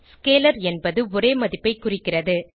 scalar என்பது ஒரே மதிப்பைக் குறிக்கிறது